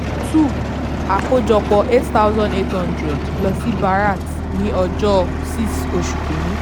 two àkójọpọ̀ eight thousand eight hundred lọ sí bharat ní ọjọ́ six oṣù kìíní.